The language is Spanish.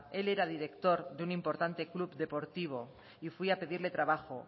él era director de un importante club deportivo y fui a pedirle trabajo